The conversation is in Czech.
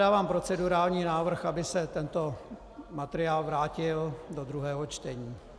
Dávám procedurální návrh, aby se tento materiál vrátil do druhého čtení.